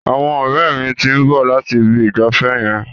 Àwọn ọ̀rẹ́ mi ti ń bọ̀ láti Ibi ìgbafẹ́ yẹn.